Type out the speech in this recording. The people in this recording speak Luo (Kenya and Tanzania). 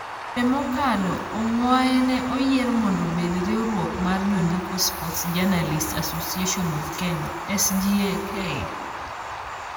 Dwe mokalo, Ongwae ne oyier mondo obed riwruok mar jondiko Sports Journalists Association of Kenya (SJAK)